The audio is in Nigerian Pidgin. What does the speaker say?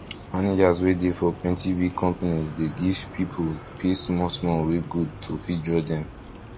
managers wey dey for plenty big companies dey give pipu pay small small wey good to fit draw dem